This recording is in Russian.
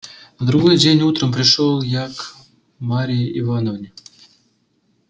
на другой день утром пришёл я к марье ивановне